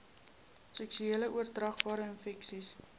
seksueel oordraagbare infeksies